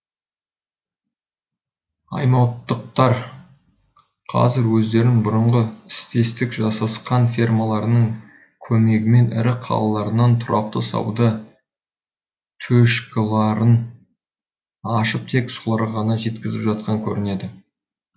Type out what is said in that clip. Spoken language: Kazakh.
аймауыттықтар қазір өздерінің бұрынғы істестік жасасқан фермаларының көмегімен ірі қалаларынан тұрақты сауда төшкіларын ашып тек соларға ғана жеткізіп жатқан көрінеді